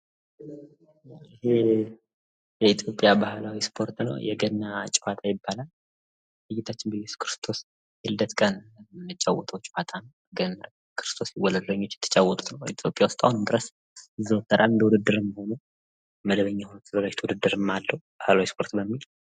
ይህ የኢትዮጵያ ባህላዊ እስፖርት ነው የገና ጨዋታ ይባላል። በጌታችን በእየሱስ ክርስቶስ የልደት ቀን የምንጫወተው ጨዋታ ነው። ክርስቶስ ሲወለድ የሚጫወቱት ጨዋታ ነው። በኢትዮጵያ አሁንም ድረስ ይዘወተራል እንደውድድርም መደበኛ የሆነ ውድድርም አለው።